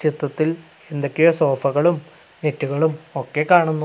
ചിത്രത്തിൽ എന്തൊക്കെയോ സോഫകളും നെറ്റുകളും ഒക്കെ കാണുന്നു.